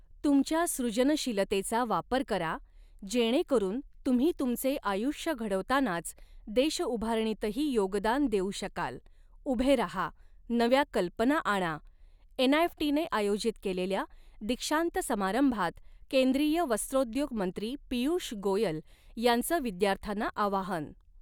तुमच्या सृजनशीलतेचा वापर करा, जेणेकरून तुम्ही तुमचे आयुष्य घडवतांनाच देशउभारणीतही योगदान देऊ शकाल, उभे रहा, नव्या कल्पना आणा, एनआयएफटीने आयोजित केलेल्या दीक्षांत समारंभात केंद्रीय वस्त्रोद्योग मंत्री पीयूष गोयल यांचं विद्यार्थ्यांना आवाहन